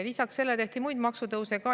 Lisaks sellele tehti muid maksutõuse.